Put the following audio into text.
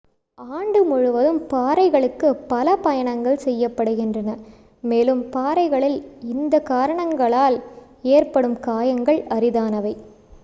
ஆண்டு முழுவதும் பாறைகளுக்கு பல பயணங்கள் செய்யப்படுகின்றன மேலும் பாறைகளில் இந்த காரணங்களால் ஏற்படும் காயங்கள் அரிதானவை